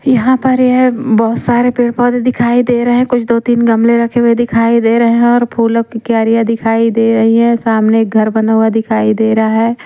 यहां पर ये बहुत सारे पेड़-पौधे दिखाई दे रहे हैं कुछ दो-तीन गमले रखे हुए दिखाई दे रहे हैं और फूलों की क्यारियां दिखाई दे रही हैं सामने एक घर बना हुआ दिखाई दे रहा है ।